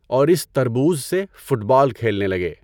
اور اس تربوز سے فُٹبال کھیلنے لگے۔